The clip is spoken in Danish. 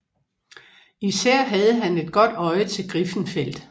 Især havde han et godt øje til Griffenfeld